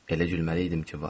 Elə gülməli idim ki, var.